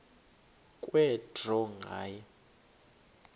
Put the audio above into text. kwe draw nganye